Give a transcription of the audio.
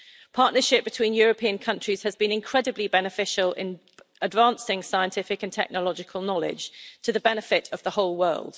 Partnership between European countries has been incredibly beneficial in advancing scientific and technological knowledge for the benefit of the whole world.